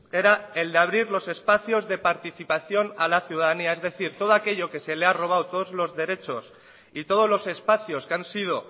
era el de abrir los espacios de participación a la ciudadanía es decir todo aquello que se la ha robado todos los derechos y todos los espacios que han sido